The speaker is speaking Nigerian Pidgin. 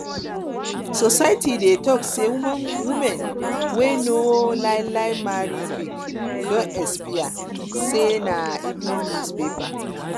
society dey talk say woman wey no um marry quick don expire sey um na evening newspaper